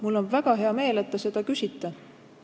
Mul on väga hea meel, et te seda küsite.